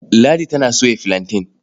Ladi tana soya filanten.